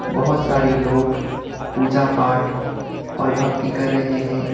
बहोत सारे लोग पूजा पाठ और भक्ति कर रहे हैं।